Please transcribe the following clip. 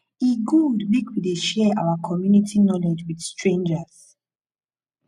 e good make we dey share our community knowledge with strangers